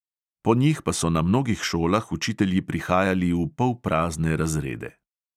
Po njih pa so na mnogih šolah učitelji prihajali v polprazne razrede.